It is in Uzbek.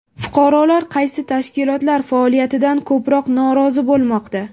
Fuqarolar qaysi tashkilotlar faoliyatidan ko‘proq norozi bo‘lmoqda?